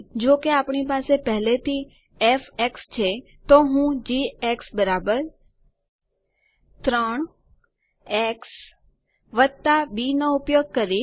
જો કે આપણી પાસે પહેલેથી ફ છે તો હું જી 3 x બી નો ઉપયોગ કરીશ